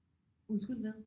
Undskyld hvad?